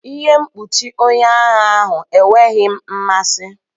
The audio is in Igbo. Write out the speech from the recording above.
Ihe mkpuchi onye agha ahụ enweghị m mmasị.